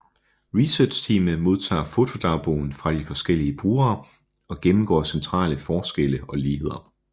Researchteamet modtager fotodagbogen fra de forskellige brugere og gennemgår centrale forskelle og ligheder